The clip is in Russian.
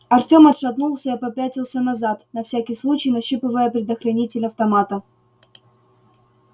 артём отшатнулся и попятился назад на всякий случай нащупывая предохранитель автомата